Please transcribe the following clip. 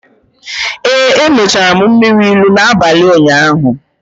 Ee, emechara m mmiri ilu n’abalị ụnyaahụ